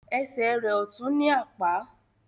Esè rẹ ọtún ní Àpá